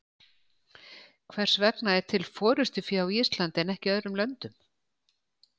Hvers vegna er til forystufé á Íslandi en ekki í öðrum löndum?